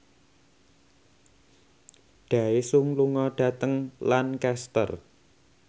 Daesung lunga dhateng Lancaster